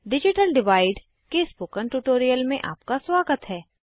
digital divide के spoken tutorial में आपका स्वागत है